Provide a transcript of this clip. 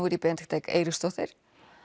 er ég Benedikta Eik Eiríksdóttir